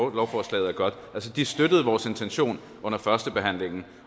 at lovforslaget var godt de støttede vores intention under førstebehandlingen